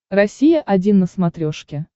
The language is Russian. россия один на смотрешке